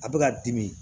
A bɛ ka dimi